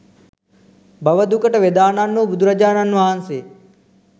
බව දුකට වෙදාණන් වූ බුදුරජාණන් වහන්සේ